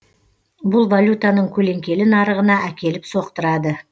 бұл валютаның көлеңкелі нарығына әкеліп соқтырады